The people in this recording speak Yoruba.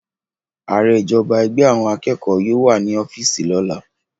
Aare ijọba ẹgbẹ awọn akeko yóò wa ni ọfiisi lola